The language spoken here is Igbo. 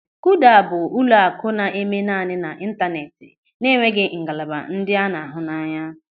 Kuda bụ ụlọaku na-eme naanị n'Ịntaneti na-enweghị ngalaba ndị a na-ahụ anya.